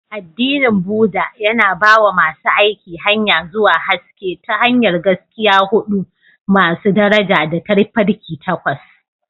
Addinin Buddah, yana ba wa masu aiki hanya zuwa haske ta hanyar Gaskiya huɗu masu daraja da Tafarki Takwas.